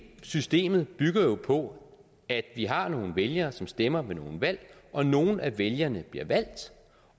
systemet bygger jo på at vi har nogle vælgere som stemmer ved nogle valg og nogle af vælgerne bliver valgt